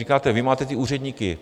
Říkáte, vy máte ty úředníky.